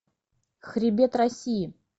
хребет россии